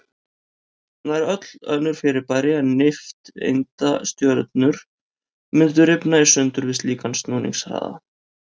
Nær öll önnur fyrirbæri en nifteindastjörnur mundu rifna í sundur við slíkan snúningshraða.